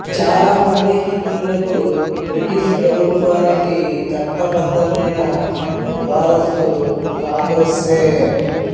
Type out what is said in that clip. చాలా మంది హిందువులకు బ్రిటిషు ప్రభుత్వానికి చట్టబద్ధమైన వారసుడు కాంగ్రెస్సే